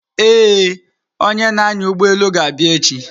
Ee, onye na-anya ụgbọelu ga-abịa echi.